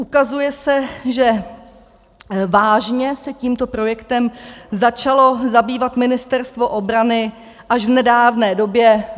Ukazuje se, že vážně se tímto projektem začalo zabývat Ministerstvo obrany až v nedávné době.